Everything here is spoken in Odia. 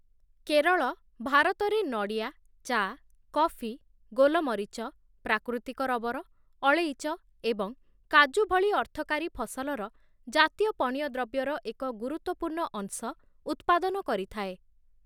କେରଳ ଭାରତରେ ନଡ଼ିଆ, ଚା', କଫି, ଗୋଲମରିଚ, ପ୍ରାକୃତିକ ରବର, ଅଳେଇଚ ଏବଂ କାଜୁ ଭଳି ଅର୍ଥକରୀ ଫସଲର ଜାତୀୟ ପଣ୍ୟଦ୍ରବ୍ୟର ଏକ ଗୁରୁତ୍ୱପୂର୍ଣ୍ଣ ଅଂଶ ଉତ୍ପାଦନ କରିଥାଏ ।